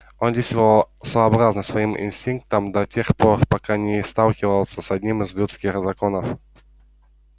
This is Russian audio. он действовал сообразно своим инстинктам до тех пор пока не сталкивался с одним из людских законов